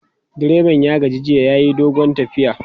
direban ya gaji jiya yayi dogon tafiya